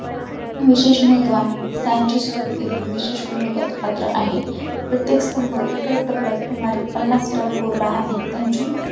विशेष महत्व आहे सांची स्तूप देखील विशेष उल्लेखास पात्र आहे प्रत्येक स्तंभ एकाच दगडात सुमारे पन्नास टन कोरला आहे